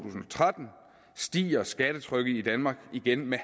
tretten stiger skattetrykket i danmark igen med